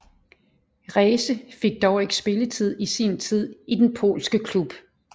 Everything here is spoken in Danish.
Reese fik dog ikke spilletid i sin tid i den polske klub